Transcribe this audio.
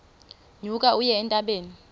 nyuka uye entabeni